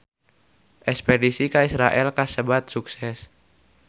Espedisi ka Israel kasebat sukses